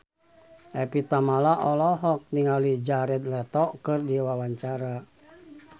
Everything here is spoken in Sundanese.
Evie Tamala olohok ningali Jared Leto keur diwawancara